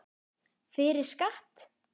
Fyrir skatt.